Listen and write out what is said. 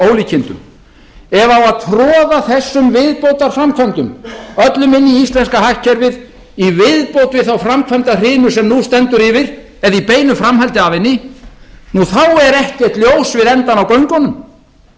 ólíkindum ef á að troða þessum viðbótarframkvæmdum öllum inn í íslenska hagkerfið í viðbót við þá framkvæmdahrinu sem nú stendur yfir eða í beinu framhaldi af henni þá er ekkert ljós við endann á göngunum